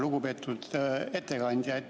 Lugupeetud ettekandja!